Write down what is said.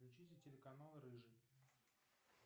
включите телеканал рыжий